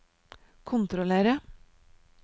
kontrollere